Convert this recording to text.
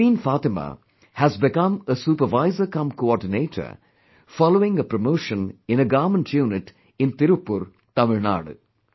Parveen Fatima has become a SupervisorcumCoordinator following a promotion in a Garment Unit in Tirupur, Tamil Nadu